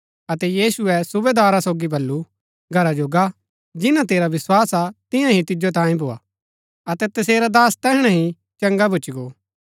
अतै यीशुऐ सूबेदारा सोगी बल्लू घरा जो गा जिन्‍ना तेरा विस्वास हा तियां ही तिजो तांयें भोआ अतै तसेरा दास तैहणै ही चंगा भूच्ची गो